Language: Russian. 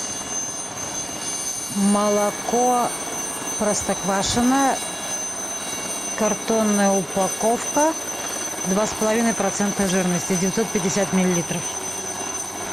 молоко простоквашино картонная упаковка два с половиной процента жирности девятьсот пятьдесят миллилитров